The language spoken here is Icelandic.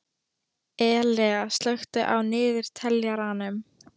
Elea, slökktu á niðurteljaranum.